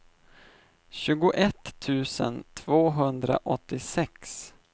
tjugoett tusen tvåhundraåttiosex